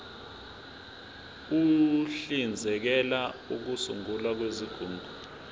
uhlinzekela ukusungulwa kwezigungu